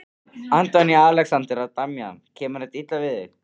Karen: Kemur þetta illa við þig?